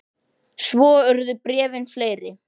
Svo urðu bréfin fleiri.